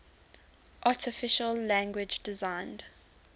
artificial language designed